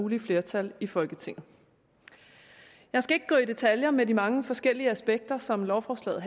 mulige flertal i folketinget jeg skal ikke gå i detaljer med de mange forskellige aspekter som lovforslaget